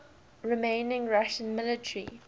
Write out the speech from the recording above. remaining russian military